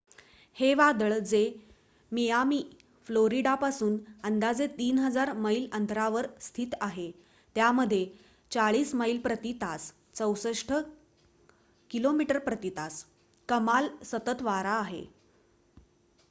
हे वादळ जे मियामी फ्लोरिडापासून अंदाजे 3,000 मैल अंतरावर स्थित आहे त्यामध्ये 40 मैल प्रती तास 64 किमी प्रती तास कमाल सतत वारा आहे